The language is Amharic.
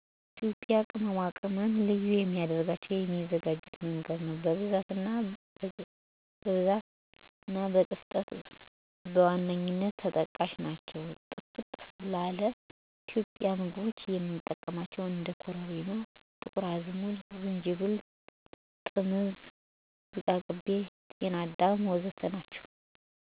ኢትዮጵያ ቅመማ ቅመም ልዩ የሚያደረገው የሚዘጋጅበት መንገድ፣ ብዛት እና ጥፍጥና በዋነኛነት ተጠቃሽ ናቸው። ጥፍጥ ላለ ኢትዮጵያዊ ምግቦች የምንጠቀማቸው እንደ ኮረሪማ፣ ጥቁር አዝሙድ፣ ዝንጅብል፣ ጥምዝ፣ ዝቃቅቤ፣ ጤናዳም፣ ነጭ ሾንኩርት፣ እርድ፣ ቅርንፉድ እና የመሳሰሉት ሲሆኑ ከፍተኛ የሆነ የጤና ጥቅም ይሰጣሉ። እነዚህ የቅመም አይነቶች በሀገራችን የሚታወቁ የምግብ አይነቶች ለምሳሌ ደሮ ወጥ፣ ቆጮ፣ ጨጨብሳ እና ሽሮ ለማዘጋጀት ይጠቅማሉ።